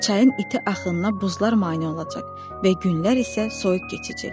Çayın iti axınına buzlar mane olacaq və günlər isə soyuq keçəcək.